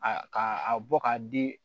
A ka a bɔ k'a di